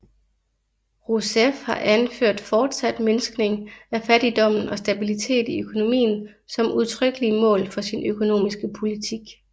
Rouseff har anført fortsat mindskning af fattigdommen og stabilitet i økonomien som udtrykkelige mål for sin økonomiske politik